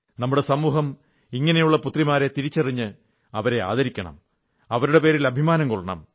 നമ്മുടെ സമൂഹം ഇങ്ങനെയുള്ള പുത്രിമാരെ തിരിച്ചറിഞ്ഞ് അവരെ ആദരിക്കണം അവരുടെ പേരിൽ അഭിമാനംകൊള്ളണം